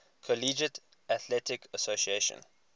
collegiate athletic association